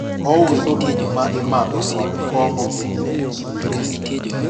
ouso gik ma imadho kod kong'o e dier chiro